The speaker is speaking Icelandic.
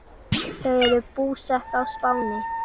Þau eru búsett á Spáni.